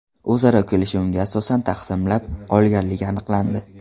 o‘zaro kelishuviga asosan taqsimlab olganligi aniqlandi.